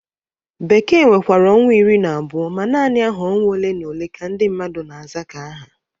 Bekee nwekwara ọnwa iri na abụo ma nanị aha ọnwa ole na ole ka ndị mmadụ na-aza ka aha.